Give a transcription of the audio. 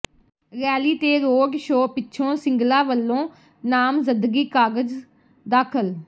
rally ਤੇ road show ਪਿੱਛੋਂ ਸਿੰਗਲਾ ਵੱਲੋਂ ਨਾਮਜ਼ਦਗੀ ਕਾਗ਼ਜ਼ ਦਾਖ਼ਲ